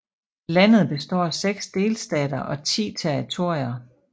Landet består af seks delstater og ti territorier